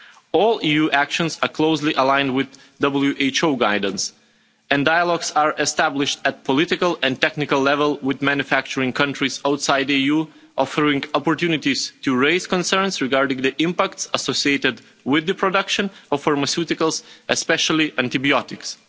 All EU actions are closely aligned with World Health Organisation guidance, and dialogues are established at political and technical level with manufacturing countries outside the EU, offering opportunities to raise concerns regarding the impact associated with the production of pharmaceuticals, especially antibiotics.